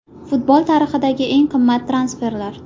Futbol tarixidagi eng qimmat transferlar.